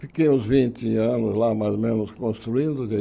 Fiquei uns vinte anos lá, mais ou menos, construindo, de